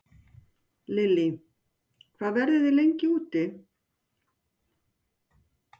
Lillý: Hvað verðið þið lengi úti?